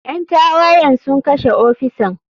Ƴan tawayen sun kashe ofisan.